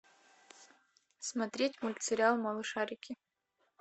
смотреть мультсериал малышарики